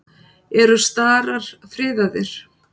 Eru starar friðaðir?